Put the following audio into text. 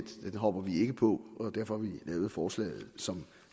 at den hopper vi ikke på og derfor har vi lavet forslaget som